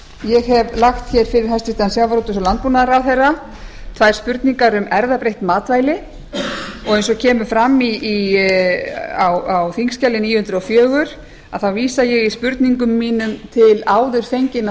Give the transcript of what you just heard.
ég hef lagt hér fyrir hæstvirtum sjávarútvegs og landbúnaðarráðherra tvær spurningar um erfðabreytt matvæli og eins og kemur fram á þingskjali níu hundruð og fjögur að þá vísa ég í spurningum mínum til